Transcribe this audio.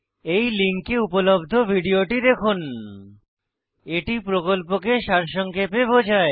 এই লিঙ্কে উপলব্ধ ভিডিওটি দেখুন httpspoken tutorialorgWhat is a Spoken tutorial এটি প্রকল্পকে সারসংক্ষেপে বোঝায়